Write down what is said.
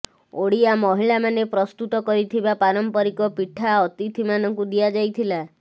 ଓଡ଼ିଆ ମହିଳାମାନେ ପ୍ରସ୍ତୁତ କରିଥିବା ପାରମ୍ପରିକ ପିଠା ଅତିଥିମାନଙ୍କୁ ଦିଆଯାଇଥିଲା